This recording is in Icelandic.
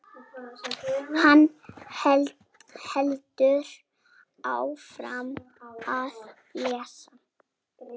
Hann heldur áfram að lesa: